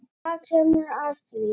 En það kemur að því.